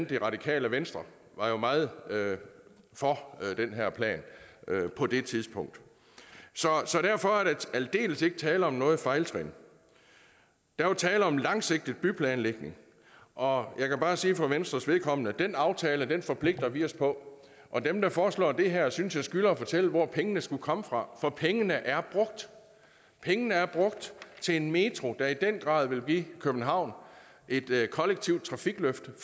det radikale venstre meget for den her plan på det tidspunkt så derfor er der aldeles ikke tale om noget fejltrin der er tale om langsigtet byplanlægning og jeg kan bare sige for venstres vedkommende at den aftale forpligter vi os på og dem der foreslår det her synes jeg skylder at fortælle hvor pengene skulle komme fra for pengene er brugt pengene er brugt til en metro der i den grad vil give københavn et kollektivt trafikløft